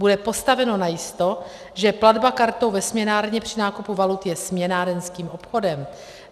Bude postaveno najisto, že platba kartou ve směnárně při nákupu valut je směnárenským obchodem.